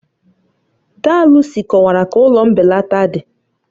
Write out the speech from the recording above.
Daa Lucy kọwara ka ụlọ mbelata dị